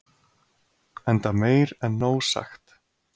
enda meir en nóg sagt